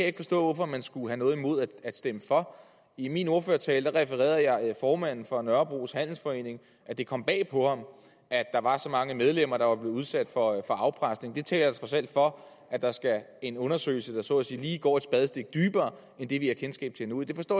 ikke forstå at man skulle have noget imod at stemme for i min ordførertale refererede jeg formanden for nørrebros handelsforening der at det kom bag på ham at der var så mange medlemmer der var blevet udsat for afpresning det taler trods alt for at der skal en undersøgelse til der så at sige lige går et spadestik dybere end det vi har kendskab til nu jeg forstår